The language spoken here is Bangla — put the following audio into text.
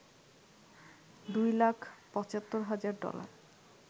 দুই লাখ ৭৫ হাজার ডলার